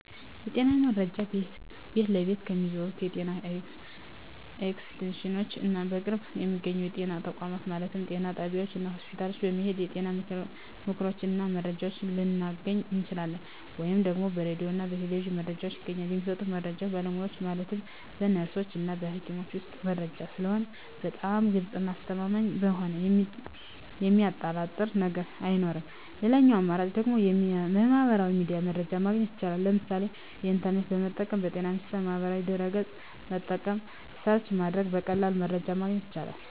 የጤና መረጃ ቤት ለቤት ከሚዞሩት የጤና ኤክስቴንሽኖች እና በቅርብ በሚገኙ የጤና ተቋማት ማለትም ጤና ጣቢያዎች እና ሆስፒታል በመሔድ የጤና ምክሮችን እና መረጃዎችን ልናገኝ እንችላለን። ወይም ደግሞ በራዲዮ እና በቴሌቪዥንም መረጃ ይገኛል። የሚሰጡት መረጃዎች በባለሙያዎች ማለትም በነርሶች እና በሀኪሞች የሚሰጥ መረጂ ስለሆነ በጣም ግልፅ እና አስተማማኝ በመሆኑ የሚያጠራጥር ነገር አይኖረውም ሌላኛው አማራጭ ደግሞ በሚህበራዊ ሚዲያ መረጃ ማግኘት ይቻላል ለምሳሌ ኢንተርኔትን በመጠቀም በጤና ሚኒስቴር ማህበራዊ ድህረ ገፅን በመጠቀም ሰርች በማድረግ በቀላሉ መረጃን ማግኘት ይቻላል።